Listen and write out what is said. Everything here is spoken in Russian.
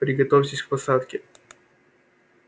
приготовьтесь к посадке